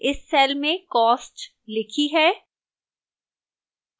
इस cell में cost लिखी है